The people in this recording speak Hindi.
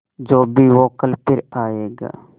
जो भी हो कल फिर आएगा